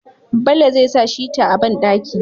Bello zai sa shita a banɗaki